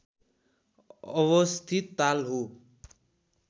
अवस्थित ताल हो